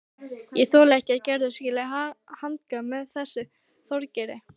Ég þoli ekki að Gerður skuli hanga með þessum Þorgeiri.